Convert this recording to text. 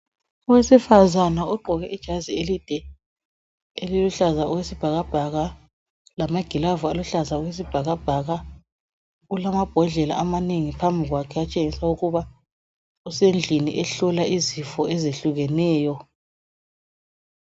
Owesifazana ogqoke ijazi elide eliluhlaza okwesibhakabhaka, lamaglove aluhlaza okwesibhakabhaka, ulamambhodlela amanengi phambi kwakhe atshengisa ukuba usendleni ehlola izifo ezehlukeneyo.